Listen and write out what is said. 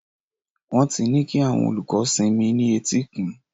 Wọ́n ti ní kí àwọn olùkọ́ sinmi ní etíkun.